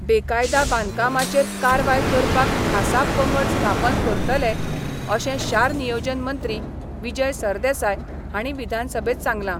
बेकायदा बांदकामाचेर कारवाय करपाक खासा पंगड स्थापन करतले अशें शार नियोजन मंत्री विजय सरदेसाय हांणी विधानसभेत सांगलां.